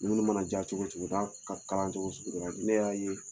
Dumuni mana diya cogo cogo n'a ka kalan cogo sugu dɔ la ni ne y'a ye